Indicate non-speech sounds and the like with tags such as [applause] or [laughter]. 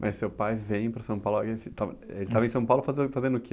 Mas seu pai vem para São Paulo, [unintelligible] ele estava em São Paulo, fazendo, fazendo o que?